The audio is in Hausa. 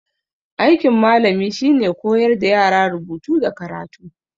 Aikin malami shine koyar da yara rubutu da karatu